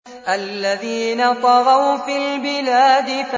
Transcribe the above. الَّذِينَ طَغَوْا فِي الْبِلَادِ